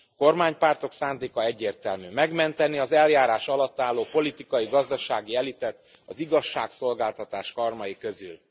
A kormánypártok szándéka egyértelmű megmenteni az eljárás alatt álló politikai, gazdasági elitet az igazságszolgáltatás karmai közül.